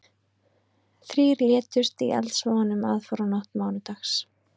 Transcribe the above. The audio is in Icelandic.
Þrír létust í eldsvoðanum aðfararnótt mánudags